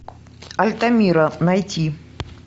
альтамира найти